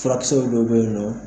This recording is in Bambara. Fulakisɛ dɔw bɛ yen nɔ